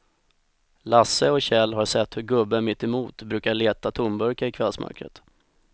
Lasse och Kjell har sett hur gubben mittemot brukar leta tomburkar i kvällsmörkret.